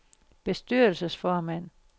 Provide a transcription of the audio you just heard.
bestyrelsesformand